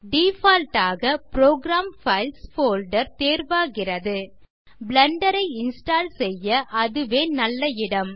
default ஆக program files folder தேர்வாகிறது Blender ஐ இன்ஸ்டால் செய்ய அதுவே நல்ல இடம்